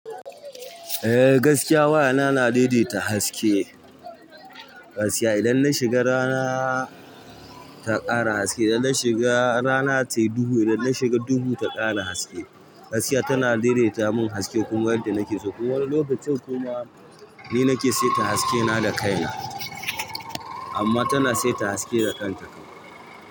Eh gaskiya waya na na daidaita haske, gaskiya idan na shiga rana ta ƙara haske, idan na shiga rana tayi duhu, idan na shiga duhu ta ƙara haske. Gaskiya tana daidaita mun haske kuma yadda nake so kuma wani lokacin kuma ni nake saita haske na da kaina amma tana saita haske da kanta kam.